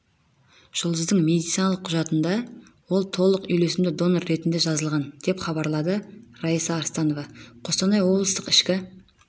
жұлдыздың медициналық құжатында ол толық үйлесімді донор ретінде жазылған деп хабарлады раиса арыстанова қостанай облыстық ішкі